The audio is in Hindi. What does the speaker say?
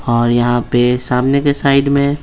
और पे यहाँ सामने के साइड में --